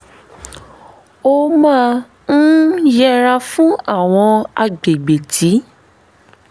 ó máa n yẹra fún àwọn agbègbè tí